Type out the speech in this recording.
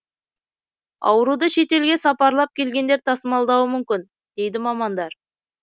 ауруды шетелге сапарлап келгендер тасымалдауы мүмкін дейді мамандар